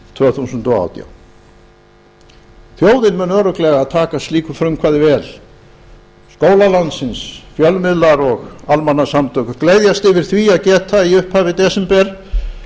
tvö þúsund og átján þjóðin mun örugglega taka slíku frumkvæði vel skólar landsins fjölmiðlar og almannasamtök gleðjast yfir því að geta í upphafi desember